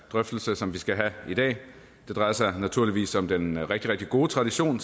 drøftelse som vi skal have i dag det drejer sig naturligvis om den rigtig rigtig gode tradition